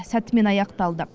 сәтімен аяқталды